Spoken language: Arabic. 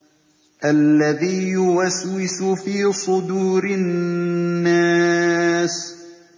الَّذِي يُوَسْوِسُ فِي صُدُورِ النَّاسِ